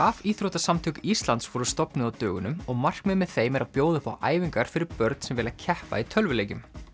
rafíþróttasamtök Íslands voru stofnuð á dögunum og markmiðið með þeim er að bjóða upp á æfingar fyrir börn sem vilja keppa í tölvuleikjum